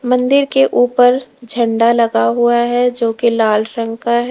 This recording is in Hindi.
मंदिर के ऊपर झंडा लगा हुआ है जो की लाल रंग का है।